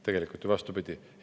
Tegelikult vastupidi!